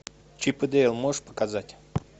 чип и дейл можешь показать